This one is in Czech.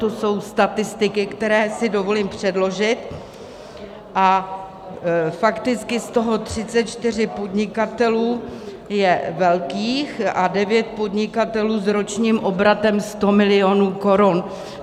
To jsou statistiky, které si dovolím předložit, a fakticky z toho 34 podnikatelů je velkých a 9 podnikatelů s ročním obratem 100 milionů korun.